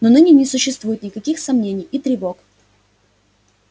но ныне не существует никаких сомнений и тревог